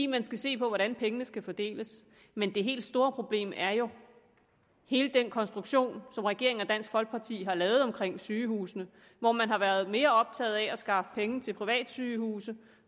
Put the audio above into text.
man skal se på hvordan pengene skal fordeles men det helt store problem er jo hele den konstruktion som regeringen og dansk folkeparti har lavet omkring sygehusene hvor man har været mere optaget af at skaffe penge til privatsygehuse